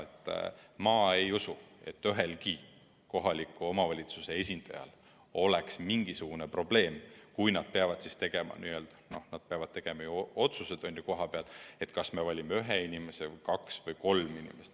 Pealegi ma ei usu, et ühegi kohaliku omavalitsuse volikogu jaoks oleks see mingisugune probleem, kui nad peaksid tegema kohapeal otsuse, kas valida esindajaks üks, kaks või kolm inimest.